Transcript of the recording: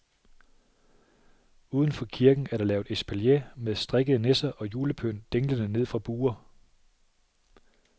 Uden for kirken er der lavet espalier med strikkede nisser og julepynt dinglende ned fra buer.